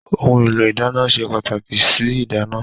Ohun èlò ìdáná se pàtàkì sí ìdáná.